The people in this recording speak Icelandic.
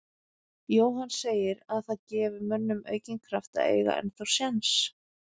Jóhann segir að það gefi mönnum aukinn kraft að eiga ennþá séns.